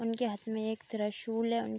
उनके हाथ मे एक त्रिशूल है उन --